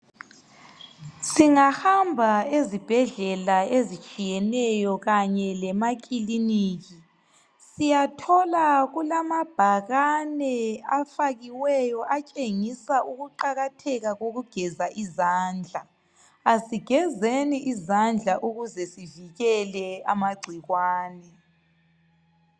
singahamba ezibhedlela ezitshiyeneyo kanye lemakiliniki siyathola kulabhakane afakiweyo atshengisa ukuqakatheka kokugeza izandla asigezeni izandla ukuze sivikele amagcikwane